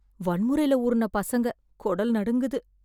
வன்முறைல ஊருன பசங்க கொடல் நடுங்குது